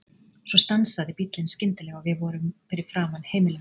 Svo stansaði bíllinn skyndilega og við vorum fyrir framan heimili mitt.